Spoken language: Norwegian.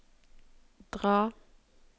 dra